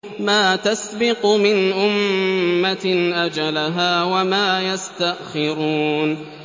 مَّا تَسْبِقُ مِنْ أُمَّةٍ أَجَلَهَا وَمَا يَسْتَأْخِرُونَ